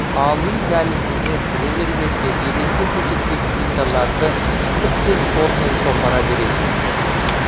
ал үй дәлізіне кіре бергенде еденге төселген плиталарды тіптен қолмен қопара бересіз